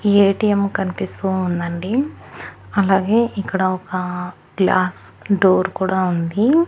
ATM కనిపిస్తూ ఉందండి అలాగే ఇక్కడ ఒక గ్లాస్ డోర్ కూడా ఉంది.